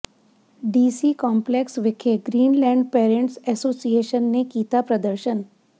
DC complex ਵਿਖੇ Greenland parents association ਨੇ ਕੀਤਾ ਪ੍ਰਦਰਸ਼ਨ